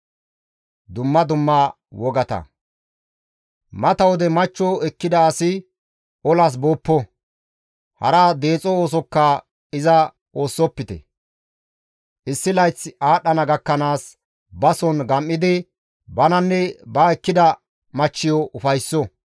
Mata wode machcho ekkida asi olas booppo; hara deexo oosokka iza oosisopite. Issi layththi aadhdhana gakkanaas bason gam7idi bananne ba ekkida machchiyo ufaysso.